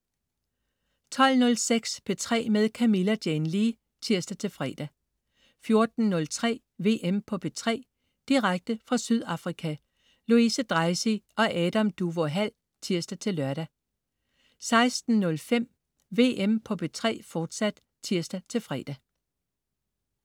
12.06 P3 med Camilla Jane Lea (tirs-fre) 14.03 VM på P3. Direkte fra Sydafrika. Louise Dreisig og Adam Duvå Hall (tirs-lør) 16.05 VM på P3, fortsat (tirs-fre)